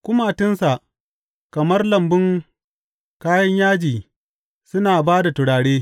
Kumatunsa kamar lambun kayan yaji suna ba da turare.